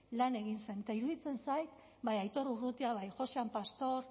lan egin zen eta iruditzen zait bai aitor urrutia bai josean pastor